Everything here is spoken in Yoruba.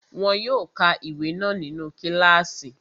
Wọn yóò ka ìwé náà nínu kílààsì